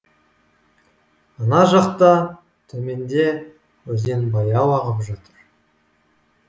ана жақта төменде өзен баяу ағып жатыр